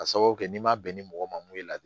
Ka sababu kɛ n'i ma bɛn ni mɔgɔ mun mun ye